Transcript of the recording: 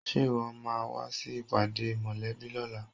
Ṣe ìwọ máa wá sí ìpàdé mòlẹ́bí lóla?